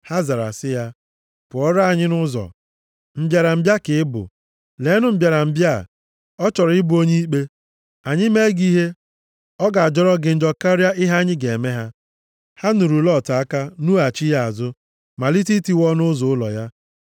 Ha zara sị ya, “Pụọra anyị nʼụzọ. Mbịarambịa ka ị bụ! Leenụ mbịarambịa a! Ọ chọrọ ịbụ onye ikpe. Anyị mee gị ihe, ọ ga-ajọrọ gị njọ karịa ihe anyị ga-eme ha.” Ha nuru Lọt aka nughachi ya azụ, malite itiwa ọnụ ụzọ ụlọ ya.